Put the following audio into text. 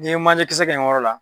N'i ye manɲɛkisɛ kɛ yen yɔrɔ la.